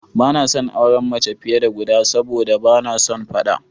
Ba na son auren mace fiye da guda sabo da ba na son faɗa.